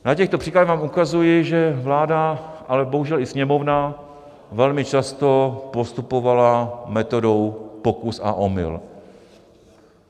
Na těchto příkladech vám ukazuji, že vláda, ale bohužel i Sněmovna, velmi často postupovala metodou pokus a omyl.